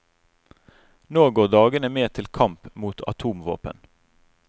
Nå går dagene med til kamp mot atomvåpen.